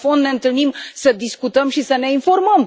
În fond, ne întâlnim să discutăm și să ne informăm.